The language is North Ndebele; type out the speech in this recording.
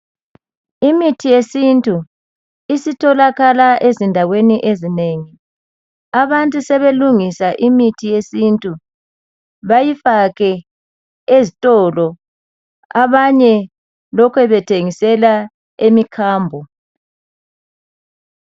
Imithi yesiNtu isitholakala ezindaweni ezinengi abantu sebelungisa imithi yesiNtu bayifake ezitolo abanye lokhe bethengisela emikhambo.